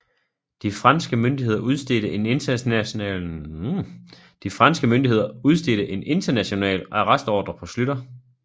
De franske myndigheder udstedte en international arrestordre på Schlüter